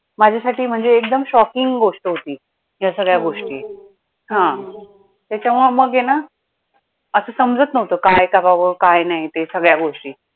माझ्यासाठी म्हणजे एकदम shocking गोष्ट होती, या सगळ्या गोष्टी हा, त्याच्यामुळे मग आहे ना असं समजतं नव्हतं काय करावं काय नाही ते सगळ्या गोष्टी